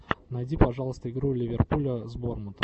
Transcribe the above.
найди пожалуйста игру ливерпуля с бормутом